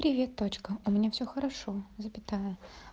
привет точка у меня всё хорошо запятая